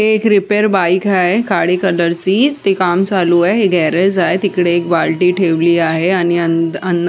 हे एक repair bike आहे काळी कलरची त्याच काम चालू आहे हे एक गॅरेज आहे तिकडे एक बारडी ठेवली आहे आणि अं--